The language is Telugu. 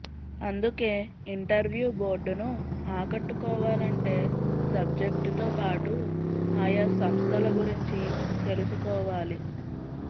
అందుకే ఇంటర్వ్యూ బోర్డును ఆకట్టుకోవాలంటే సబ్జెక్టుతోపాటు ఆయా సంస్థల గురించి తెలుసుకోవాలి